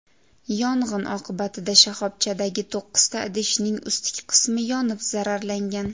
Yong‘in oqibatida shoxobchadagi to‘qqizta idishning ustki qismi yonib zararlangan.